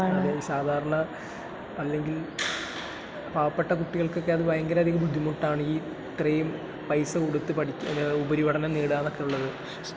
അതെ, സാധാരണ അല്ലെങ്കിൽ പാവപ്പെട്ട കുട്ടികൾക്കൊക്കെ അത് ഭയങ്കരധികം ബുദ്ധിമുട്ടാണ്...ഈ..ഇത്രയും പൈസ കൊടുത്തു പഠിക്കുക, ഉപരിപഠനം നേടുക...എന്നൊക്കെയുള്ളത്.